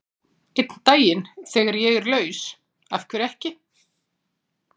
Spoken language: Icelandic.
Einn daginn, þegar ég er laus, af hverju ekki?